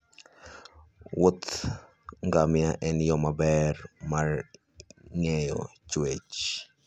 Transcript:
Wuodh ngamia en yo maber mar ng'eyo chwech.